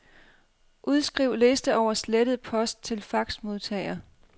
Udskriv liste over slettet post til faxmodtager.